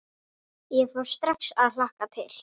Ég fór strax að hlakka til.